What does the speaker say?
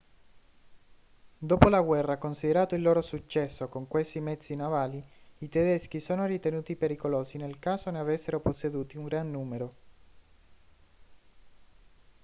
dopo la guerra considerato il loro successo con questi mezzi navali i tedeschi sono ritenuti pericolosi nel caso ne avessero posseduti un gran numero